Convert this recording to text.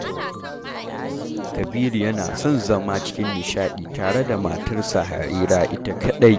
Kabiru yana son zama cikin nishaɗi tare da matarsa Harira ita kaɗai